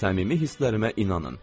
səmimi hisslərimə inanın.